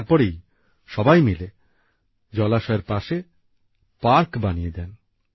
আর তারপরেই সবাই মিলে জলাশয়ের পাশে পার্ক বানিয়ে দেন